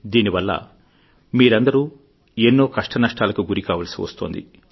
దీనివల్ల మీరందరూ ఎన్నో కష్టనష్టాలకు గురికావల్సి వస్తోంది